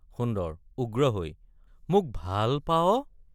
সুন্দৰ—উগ্ৰ হৈ মোক—ভা—ল পাৱ?